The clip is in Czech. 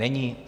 Není.